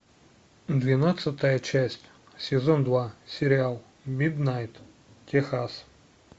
двенадцатая часть сезон два сериал миднайт техас